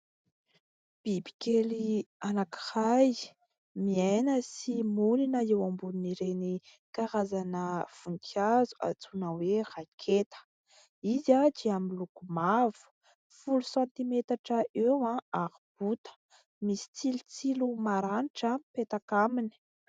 Bibikely anankiray, miaina sy monina eo ambonin'ireny karazana voninkazo antsoina hoe raketa; izy dia miloko mavo, folo santimetatra eo ary bota, misy tsilotsilo maranitra mipetaka aminy.